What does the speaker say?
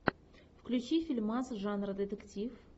включи фильмас жанра детектив